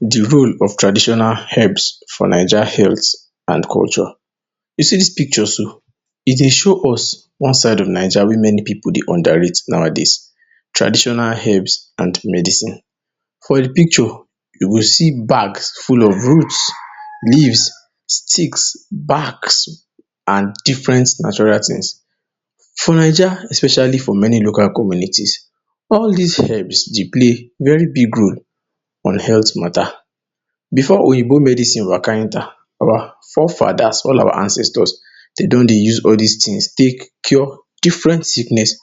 De role of tradition herbs for Naija health and culture, you see dis picture so e dey show us one side of Naija wey many pipu dey underrate nowadays, traditional herbs and medicine, for the picture you go see bag full of roots, leaves, sticks, barks, and different natural things. For Naija especially for many local communities, all dis herbs dey play very big role on health matter, before oyibo medicine waka enter our fore fathers all our ancestors dem don dey use all dis things take cure different sickness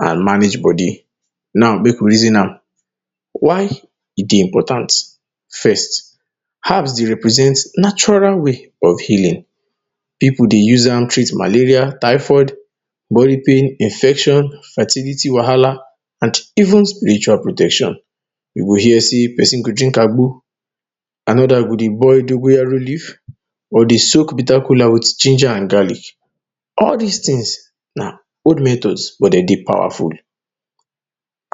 and manage body. Now make we reason am why e dey important, first, herbs dey represent natural way of healing, pipu dey use am treat malaria, typhoid, body pain, infection, fertility wahala and even spiritual protection, you go hear sey person go drink agbo another go dey boil dogoyaro leaf or dey soak bitter kola with ginger and garlic all dis things na old method but dem dey powerful.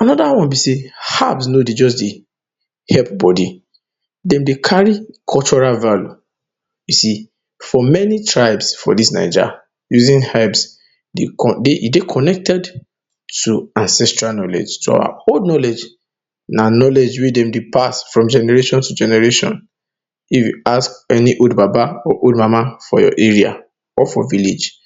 Another one be sey herbs no dey just dey help body dem dey carry cultural value, you see for many tribe for dis Naija using herbs e dey connected to ancestral knowledge to our old knowledge, na knowledge wey dem dey pass from generation to generation, if you ask any old baba or old mama for your area, or for village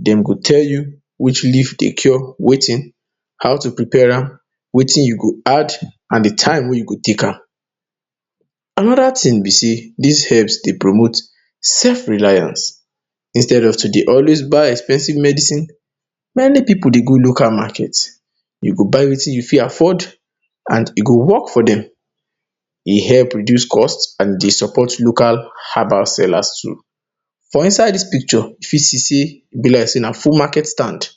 dem go tell you, which leaf dey cure wetin, how to prepare am wetin you go add and the time we you go take am. Another thing be sey dis herbs dey promote self reliance instead of to dey always buy expensive medicine, many pipu dey go local market you go buy wetin you fit afford and e go work for dem. E herb reduce cost and e dey support local herbal sellers too. For inside the picture you fit see sey e be like full market stand,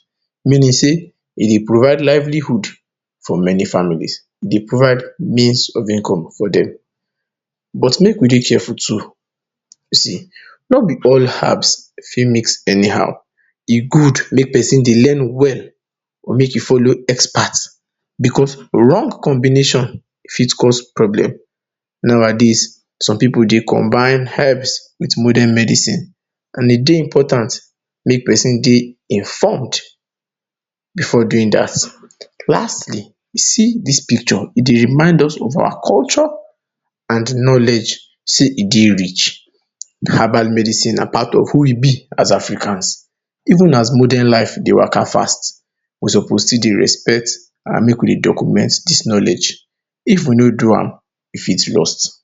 meaning sey e dey provide livelihood for many families e dey provide means of income for dem. But make we dey careful too no be all herbs you fit mix anyhow e good make person dey learn well or make e follow expert because wrong combination fit cause problem. Nowadays some pipu dey combine herbs with modern medicine and e dey important make person dey imformed before doing dat. lastly, you see dis picture e dey remind us of our culture and knowledge sey e dey rich, herbal medicine na part of who we be as Africans, even as modern life dey waka fast, we suppose still dey respect and make we document dis knowledge. If we no do am e fit lose.